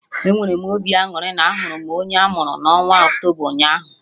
Enwere m obi aṅụrị na ahụrụ m onye amuru na onwa Octoba ụnyaahụ